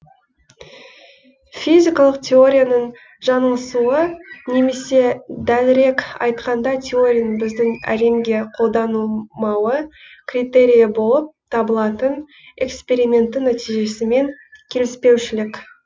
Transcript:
физикалық теорияның жаңылысуы немесе дәлірек айтқанда теорияның біздің әлемге қолданылмауы критерийі болып табылатын эксперименттің нәтижесімен келіспеушілік